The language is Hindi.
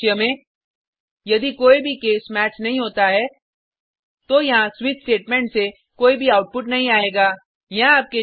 ऐसे परिदृश्य में यदि कोई भी केस मैच नहीं होता है तो यहाँ स्विच स्टेटमेंट से कोई भी आउटपुट नहीं आयेगा